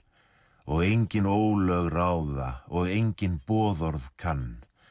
og engin ólög ráða og enginn boðorð kann